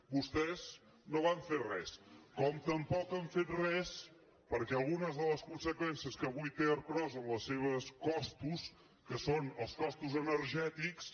vostès no van fer res com tampoc han fet res perquè algunes de les conseqüències que avui té ercros en els seus costos que són els costos energètics